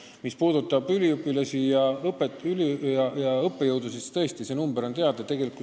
Mis puudutab üliõpilasi ja õppejõudusid, siis nende arv on teada.